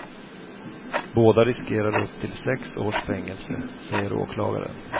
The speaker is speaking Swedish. Båda riskerar upp till sex års fängelse, säger åklagaren.